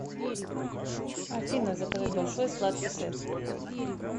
афина заказать большой сладкий сет